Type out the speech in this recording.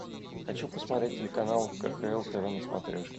хочу посмотреть телеканал кхл тв на смотрешке